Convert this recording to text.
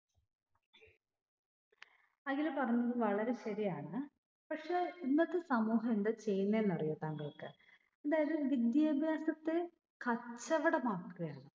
അഖില് പറഞ്ഞത് വളരെ ശെരിയാണ്. പക്ഷെ ഇന്നത്തെ സമൂഹം എന്താ ചെയ്യുന്നേ എന്നറിയോ താങ്ങൾക്ക്? അതായത് വിദ്യാഭ്യാസത്തെ കച്ചവടമാക്കുകയാണ്.